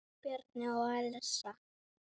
Bjarni og Elsa.